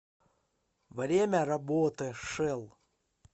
время работы шелл